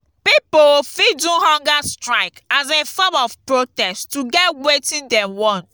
pipo fit do humger strike as a form of protest to get wetin dem want